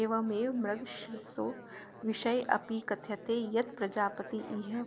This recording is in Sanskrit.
एवमेव मृगशिरसो विषयेऽपि कथ्यते यत्प्रजापतिहि